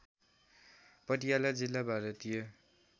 पटियाला जिल्ला भारतीय